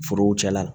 Forow cɛla